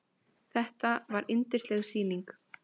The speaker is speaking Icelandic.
Þetta var yndisleg sýning.